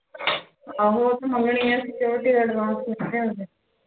ਆਹੋ ਉਹ ਤਾ ਮੰਗਣੇ security advance